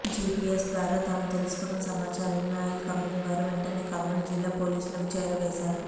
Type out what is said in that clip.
GPS ద్వారా తాము తెలుసుకున్న సమాచారాన్ని అయిల్ కంపెనీ వారు వెంటనే కర్నూలు జిల్లా పోలీసుకు చేరవేశారు